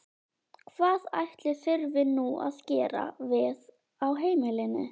Hvað ætli þurfi nú að gera við á heimilinu?